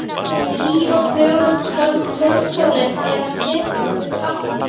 Hlý og fögur kvöldsólin er að setjast við hafsbrún.